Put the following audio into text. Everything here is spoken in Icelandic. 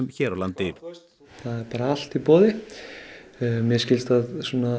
hér á landi það er bara allt í boði mér skilst að